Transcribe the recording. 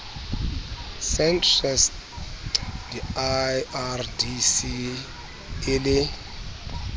centres di lrdc e le